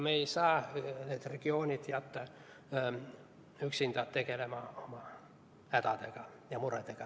Me ei saa jätta need regioonid üksinda tegelema oma hädade ja muredega.